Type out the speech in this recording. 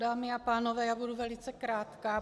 Dámy a pánové, já budu velice krátká.